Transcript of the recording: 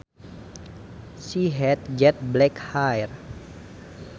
She had jet black hair